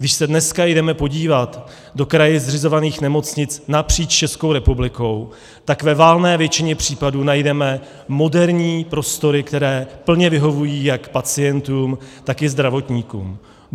Když se dneska jdeme podívat do kraji zřizovaných nemocnic napříč Českou republikou, tak ve valné většině případů najdeme moderní prostory, které plně vyhovují jak pacientům, tak i zdravotníkům.